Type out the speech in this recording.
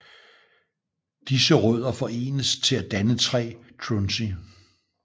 Disse rødder forenes til at danne 3 trunci